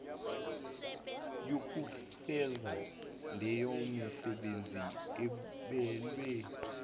yokufeza leyomisebenzi abelwe